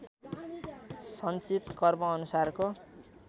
सञ्चित कर्मअनुसारको